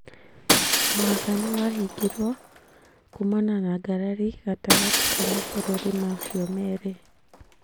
Mũhaka nĩwahingirwo kumana na ngarari gatagatĩ ka mabũrũri macio merĩ